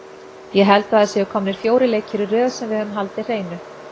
Ég held að það séu komnir fjórir leikir í röð sem við höfum haldið hreinu.